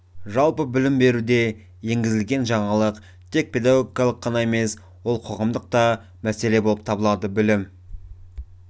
жалпы білім беруде енгізілген жаңалық тек педагогикалық ғана емес ол қоғамдық та мәселе болып табылады білім